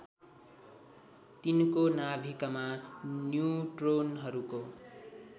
तिनको नाभिकमा न्युट्रोनहरूको